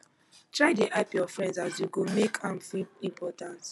try dey hype yur friend as you go mek am feel important